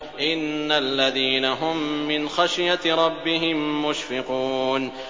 إِنَّ الَّذِينَ هُم مِّنْ خَشْيَةِ رَبِّهِم مُّشْفِقُونَ